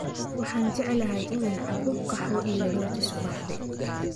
Waxaan jeclahay in aan cabbo qaxwo iyo rooti subaxdii.